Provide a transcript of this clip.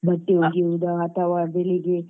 ಬಟ್ಟೆ ಒಗೆಯುದ ಅಥವಾ ಬೆಳಿಗ್ಗೆ